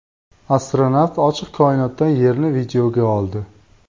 Astronavt ochiq koinotdan Yerni videoga oldi .